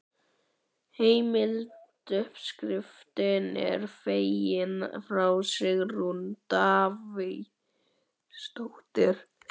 Heimild: Uppskriftin er fengin frá Sigrúnu Davíðsdóttur.